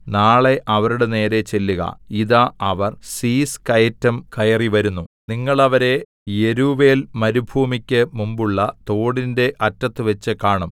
നാളെ അവരുടെ നേരെ ചെല്ലുക ഇതാ അവർ സീസ് കയറ്റം കയറിവരുന്നു നിങ്ങൾ അവരെ യെരൂവേൽ മരുഭൂമിക്കു മുമ്പുള്ള തോടിന്റെ അറ്റത്തുവെച്ച് കാണും